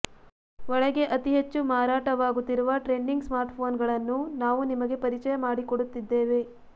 ಒಳಗೆ ಅತಿಹೆಚ್ಚು ಮಾರಾಟವಾಗುತ್ತಿರುವ ಟ್ರೆಂಡಿಂಗ್ ಸ್ಮಾರ್ಟ್ಪೋನ್ಗಳನ್ನು ನಾವು ನಿಮಗೆ ಪರಿಚಯ ಮಾಡಿಕೊಡುತ್ತಿದ್ದೇವೆ